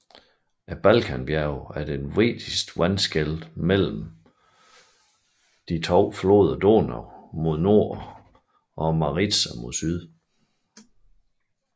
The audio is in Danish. Balkanbjergene er det vigtigste vandskel mellem floderne Donau mod nord og Maritsa mod syd